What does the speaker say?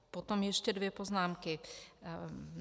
Potom ještě dvě poznámky.